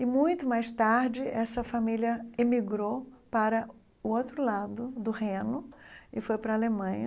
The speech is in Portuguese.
E muito mais tarde, essa família emigrou para o outro lado do Reno e foi para a Alemanha.